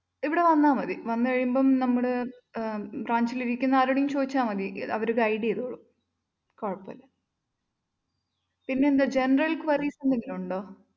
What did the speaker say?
ഇവിടെവന്നാ മതി. വന്നു കഴിയുമ്പം നമ്മടെ അഹ് branch ലിരിക്കുന്ന ആരോടെലും ചോദിച്ചാ മതി. അവര് guide ചെയ്തോളും കുഴപ്പമില്ല. പിന്നെ എന്താ generalquerries എന്തെങ്കിലുമുണ്ടോ?